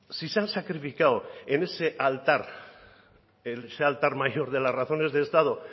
si se han sacrificado en ese altar en ese altar mayor de las razones de estado